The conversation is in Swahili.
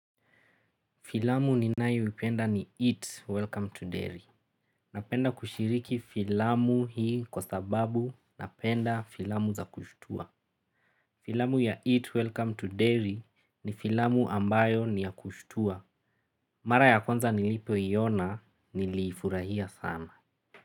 Filamu ninayo ipenda ni Eat Welcome to Dairy. Napenda kushiriki filamu hii kwa sababu napenda filamu za kushtua. Filamu ya Eat Welcome to Dairy ni filamu ambayo ni ya kushitua. Mara ya kwanza nilipo iona nilifurahia sana.